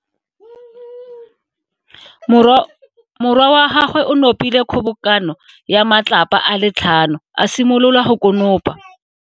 Morwa wa gagwe o nopile kgobokano ya matlapa a le tlhano, a simolola go konopa.